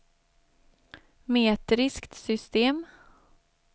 metriskt system